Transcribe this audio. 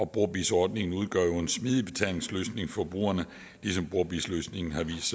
brobizz ordningen udgør jo en smidig betalingsløsning for brugerne ligesom brobizz løsningen har vist